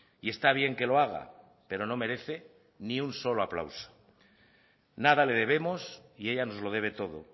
y está bien que lo haga pero no merece ni un solo aplauso nada le debemos y ella nos lo debe todo